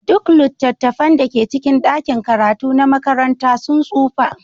Duk littattafan da ke cikin ɗakin karatu na makaranta sun tsufa.